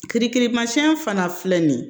Kirikirimasiyɛn fana filɛ nin ye